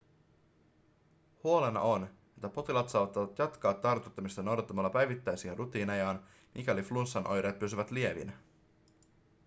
huolena on että potilaat saattavat jatkaa tartuttamista noudattamalla päivittäisiä rutiinejaan mikäli flunssan oireet pysyvät lievinä